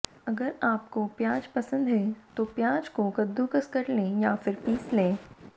अगर आपको प्याज पसंद है तो प्याज को कदूकस कर लें या फिर पीस लें